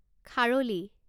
খাৰলি